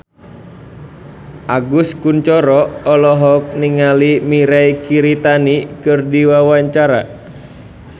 Agus Kuncoro olohok ningali Mirei Kiritani keur diwawancara